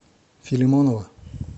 филимонова